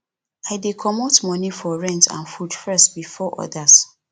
i dey comot moni for rent and food first before odas